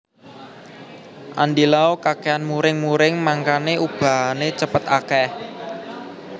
Andy Lau kakean muring muring mangkane ubane cepet akeh